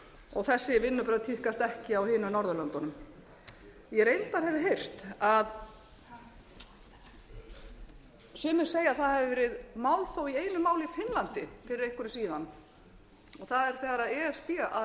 og þessi vinnubrögð tíðkast ekki á hinum norðurlöndunum ég hef reyndar heyrt að sumir segja að það hafi verið málþóf í einu máli í finnlandi fyrir einhverju síðan og það er þegar e s b